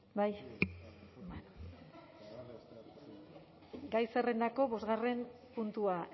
bai gai zerrendako bostgarren puntua